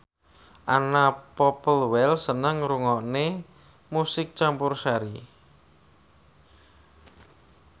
Anna Popplewell seneng ngrungokne musik campursari